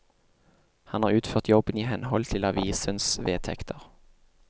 Han har utført jobben i henhold til avisens vedtekter.